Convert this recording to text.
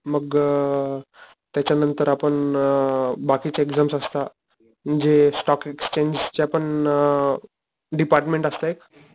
मग अ त्याच्या नंतर आपण अ बाकीच्या एक्साम्स असता म्हणजे स्टोक एक्सचेंग च्या पण अ डिपार्टमेन्ट असत एक